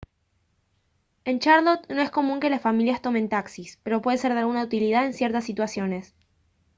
en charlotte no es común que las familias tomen taxis pero pueden ser de alguna utilidad en ciertas situaciones